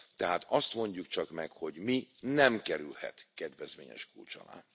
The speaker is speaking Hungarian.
Tehát azt mondjuk csak meg, hogy mi nem kerülhet kedvezményes kulcs alá.